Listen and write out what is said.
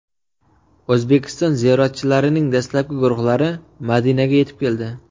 O‘zbekiston ziyoratchilarining dastlabki guruhlari Madinaga yetib keldi.